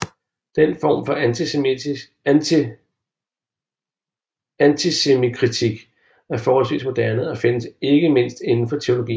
Den form for ateismekritik er forholdsvis moderne og findes ikke mindst inden for teologien